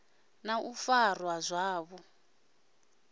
na u farwa zwavhu ḓi